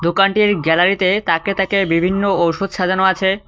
দোকানটির গ্যালারিতে তাকে বিভিন্ন ঔষধ সাজানো আছে।